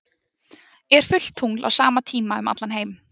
er fullt tungl á sama tíma um allan heim